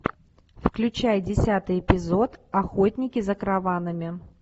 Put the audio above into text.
включай десятый эпизод охотники за караванами